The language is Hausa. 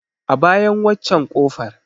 A bayan waccen ƙofar.